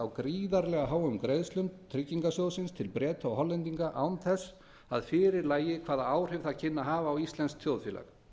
gríðarlega háum greiðslum tryggingarsjóðsins til breta og hollendinga án þess að fyrir lægi hvaða áhrif það kynni að hafa á íslenskt þjóðfélag